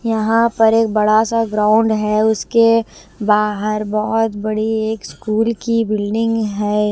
यहाँ पर एक बड़ा सा ग्राउंड है उसके बाहर बहुत बड़ी एक स्कूल की बिल्डिंग है।